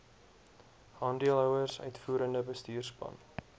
aandeelhouers uitvoerende bestuurspan